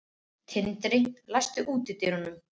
Tindri, læstu útidyrunum.